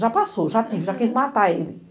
Já passou, já quis, já quis matar ele.